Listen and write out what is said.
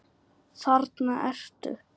Þarna ertu!